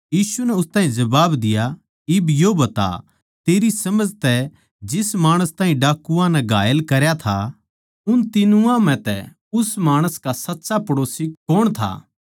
यीशु नै उस ताहीं कह्या इब यो बता तेरी समझ तै जिस माणस ताहीं डाकुआं नै घायल करा था उन तीनां म्ह तै उस माणस का सच्चा पड़ोसी कौण था